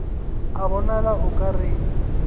a bonala o ka re